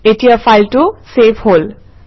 এতিয়া ফাইলটো চেভ হল